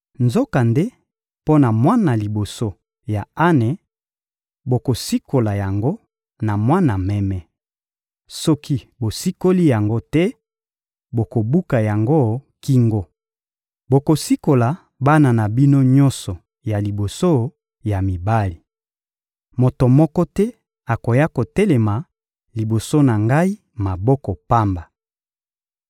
Nzokande, mpo na mwana liboso ya ane, bokosikola yango na mwana meme. Soki bosikoli yango te, bokobuka yango kingo. Bokosikola bana na bino nyonso ya liboso ya mibali. Moto moko te akoya kotelema liboso na Ngai maboko pamba.